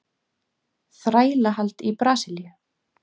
Þrælahald í Brasilíu.